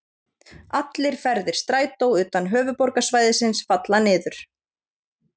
Allir ferðir Strætó utan höfuðborgarsvæðisins falla niður.